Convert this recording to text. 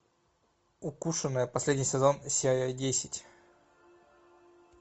укушенная последний сезон серия десять